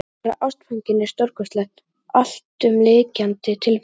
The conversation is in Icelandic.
Að verða ástfanginn er stórkostleg, alltumlykjandi tilfinning.